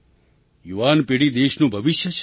યુવાન પેઢી દેશનું ભવિષ્ય છે